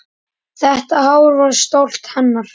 Þetta hár var stolt hennar.